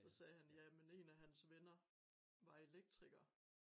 Så sagde ja men en af hans venner var elektriker